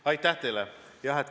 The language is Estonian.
Aitäh teile!